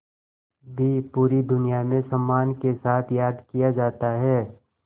भी पूरी दुनिया में सम्मान के साथ याद किया जाता है